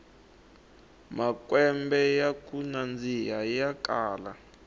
makwembe yaku nandzika ya kala